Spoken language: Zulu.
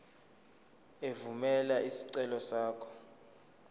evumela isicelo sakho